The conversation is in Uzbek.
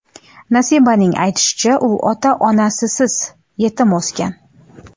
Nasibaning aytishicha, u ota-onasisiz, yetim o‘sgan.